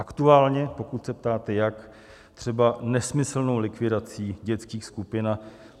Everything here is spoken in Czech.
Aktuálně, pokud se ptáte jak, třeba nesmyslnou likvidací dětských skupin.